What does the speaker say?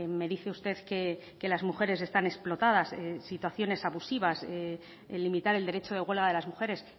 me dice usted que las mujeres están explotadas en situaciones abusivas en limitar el derecho de huelga de las mujeres